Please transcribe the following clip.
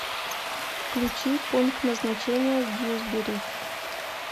включи пункт назначения дьюсбери